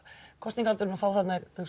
kosningaaldurinn og fá þarna